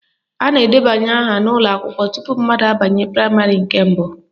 A na-edebanye aha n'ụlọakwụkwọ tupu mmadụ abanye praịmarị nke mbụ